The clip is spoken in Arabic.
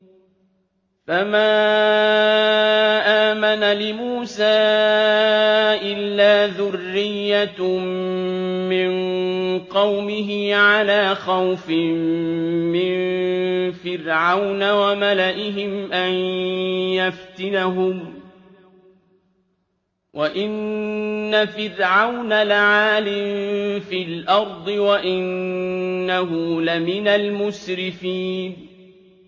فَمَا آمَنَ لِمُوسَىٰ إِلَّا ذُرِّيَّةٌ مِّن قَوْمِهِ عَلَىٰ خَوْفٍ مِّن فِرْعَوْنَ وَمَلَئِهِمْ أَن يَفْتِنَهُمْ ۚ وَإِنَّ فِرْعَوْنَ لَعَالٍ فِي الْأَرْضِ وَإِنَّهُ لَمِنَ الْمُسْرِفِينَ